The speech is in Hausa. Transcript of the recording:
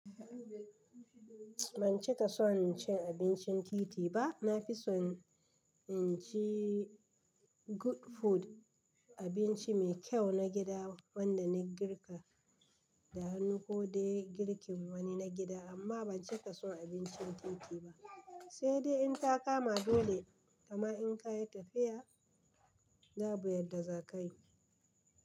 Ban cika son cin abincin titi ba, na fi son inci good food, abinci mai kyau na gida wanda na girka da hannu ko dai girkin wani na gida. Amma ban cika son abincin titi ba sai dai in ta kama dole, kama in kayi tafiya babu yadda za kayi.